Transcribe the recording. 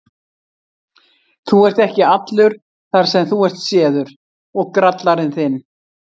Þú ert ekki allur þar sem þú ert séður, grallarinn þinn!